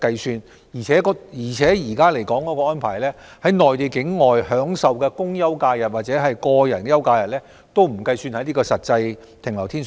此外，根據現行安排，在內地境內享受的公休假日或個人休假日，不計算在實際停留天數內。